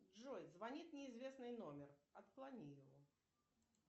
джой звонит неизвестный номер отклони его